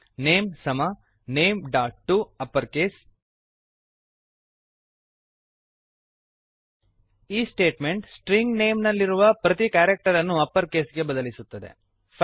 name name ಸಮ nameಟಪ್ಪರ್ಕೇಸ್ name dot to upper case ಈ ಸ್ಟೇಟ್ಮೆಂಟ್ ಸ್ಟ್ರಿಂಗ್ ನೇಮ್ ನೇಮ್ ನಲ್ಲಿರುವ ಪ್ರತಿ ಕ್ಯಾರಕ್ಟರನ್ನು ಅಪ್ಪರ್ ಕೇಸ್ ಗೆ ಬದಲಿಸುತ್ತದೆ